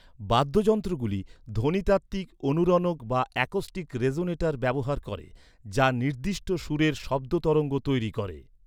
বাদ্যযন্ত্রগুলি ধ্বনিতাত্ত্বিক অনুরণক বা অ্যাকোস্টিক রেজোনেটর ব্যবহার করে যা নির্দিষ্ট সুরের শব্দ তরঙ্গ তৈরি করে।